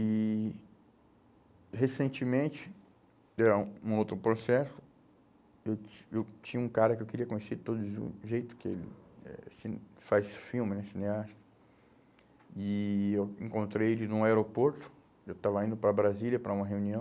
E, recentemente, era um, um outro processo, eu tin eu tinha um cara que eu queria conhecer de todo jeito, que ele eh assim faz filme, né, cineasta, e eu encontrei ele num aeroporto, eu estava indo para Brasília para uma reunião,